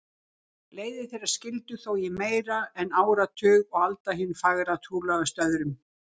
Leiðir þeirra skildi þó í meira en áratug og Alda hin fagra trúlofaðist öðrum.